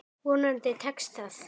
Vonandi tekst það.